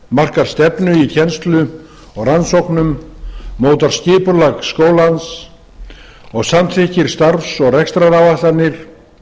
markar stefnu í kennslu og rannsóknum notar skipulag skólans og samþykkir starfs og rekstraráætlanir